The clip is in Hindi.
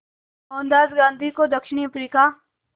मोहनदास गांधी को दक्षिण अफ्रीका